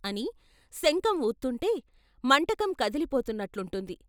అని శంఖం వూత్తుంటే మంటకం కదిలిపోతున్నట్లుంటుంది.